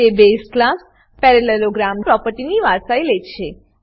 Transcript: તે base class parallelogram પ્રોપર્ટીની વારસાઈ લે છે